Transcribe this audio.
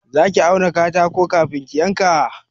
Za ki auna katako kafin ki yanka?